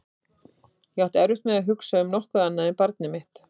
Ég átti erfitt með að hugsa um nokkuð annað en barnið mitt.